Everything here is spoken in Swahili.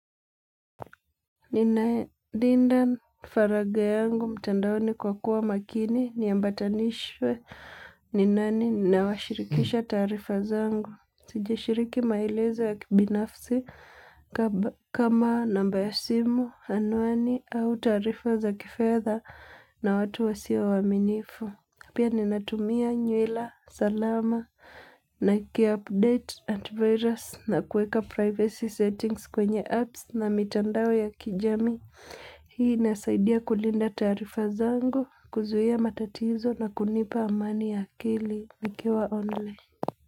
Nina linda faragha yangu mtandaoni kwa kuwa makini ni ambatanishwe ni nani nawashirikisha taarifa zangu. Sijashiriki maelezo ya kibinafsi kama namba ya simu, anwani, au taarifa za kifedha na watu wasio waaminifu. Pia ninatumia nywila salama na iki update antivirus na kuweka privacy settings kwenye apps na mitandao ya kijamii. Hii inasaidia kulinda taarifa zangu, kuzuia matatizo na kunipa amani ya akili. Nikiwa online.